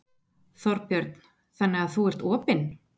Þorbjörn: Þannig að þú ert opinn?